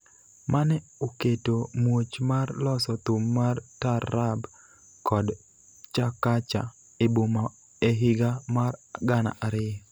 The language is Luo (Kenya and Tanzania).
mane oketo muoch mar loso thum mar Taarab kod Chakacha e boma e higa mar gana ariyo.